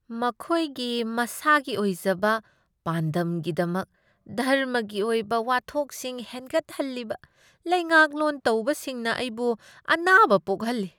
ꯃꯈꯣꯏꯒꯤ ꯃꯁꯥꯒꯤ ꯑꯣꯏꯖꯕ ꯄꯥꯟꯗꯝꯒꯤꯗꯃꯛ ꯙꯔꯃꯒꯤ ꯑꯣꯏꯕ ꯋꯥꯊꯣꯛꯁꯤꯡ ꯍꯦꯟꯒꯠꯍꯜꯂꯤꯕ ꯂꯩꯉꯥꯛꯂꯣꯟ ꯇꯧꯕꯁꯤꯡꯅ ꯑꯩꯕꯨ ꯑꯅꯥꯕ ꯄꯣꯛꯍꯜꯂꯤ ꯫